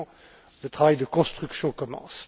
Maintenant le travail de construction commence.